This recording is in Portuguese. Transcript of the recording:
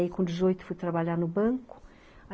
Aí com dezoito fui trabalhar no banco.